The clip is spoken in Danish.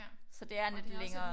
Så det er en lidt længere